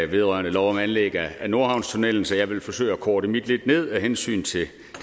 vedrørende lov om anlæg af nordhavnstunnellen så jeg vil forsøge at korte mit indlæg lidt ned af hensyn til